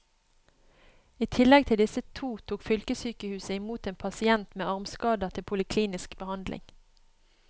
I tillegg til disse to tok fylkessykehuset i mot en pasient med armskader til poliklinisk behandling.